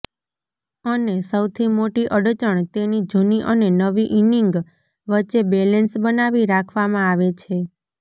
અને સૌથી મોટી અડચણ તેની જૂની અને નવી ઈનિંગ વચ્ચે બેલેન્સ બનાવી રાખવામાં આવે છે